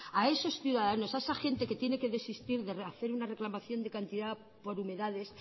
a esos ciudadanos a esa gente que tiene que desistir de hacer una reclamación de cantidad por humedades